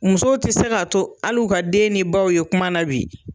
Musow ti se ka to ali u ka den ni baw ye kuma na bi.